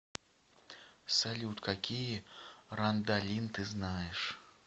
салют какие рандалин ты знаешь